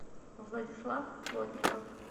владислав плотников